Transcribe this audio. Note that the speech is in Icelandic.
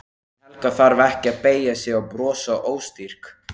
En Helga þarf ekki að beygja sig og brosa óstyrk.